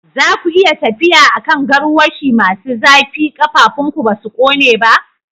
Za ku iya tafiya a kan garwashi masu zafi, ƙafafunku ba su kone ba?